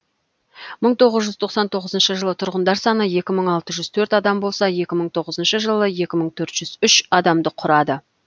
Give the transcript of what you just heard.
мың тоғыз жүз тоқсан тоғызыншы жылы тұрғындар саны екі мың алты жүз төрт адам болса екі мың тоғызыншы жылы екі мың төрт жүз үш адамды құрады